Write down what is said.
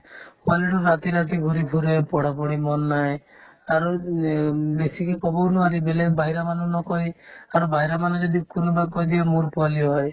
পোৱালিতো ৰাতি ৰাতি ঘূৰি ফুৰে পঢ়া-পঢ়ি মন নাই আৰু উম এহ্ বেছিকে ক'বও নোৱাৰি বেলেগ বাহিৰা মানুহ নকই আৰু বাহিৰা মানুহে যদি কোনোবাই কৈ দিয়ে মোৰ পোৱালি হয়